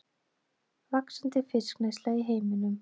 Vaxandi fiskneysla í heiminum